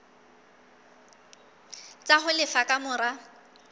tsa ho lefa ka mora